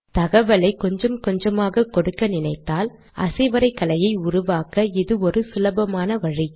தகவலை கொஞ்சம் கொஞ்சமாக கொடுக்க நினைத்தால் அசைவரைகலையை உருவாக்க இது ஒரு சுலபமான வழி